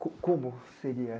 Como seria?